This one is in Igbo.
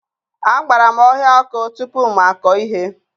Agbara m ọhịa ọkụ tupu m akọ ihe